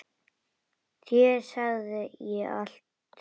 Þér segi ég allt.